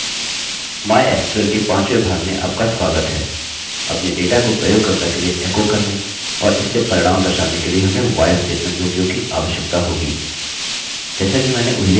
mysql के पांचवें भाग में आपका स्वागत है अपने डेटा को प्रयोगकर्ता के लिए एकोecho करने और इससे परिणाम दर्शाने के लिए हमें while स्टेटमेंटstatement के उपयोग की आवश्यकता होगी